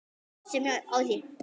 Sem ég á í þér.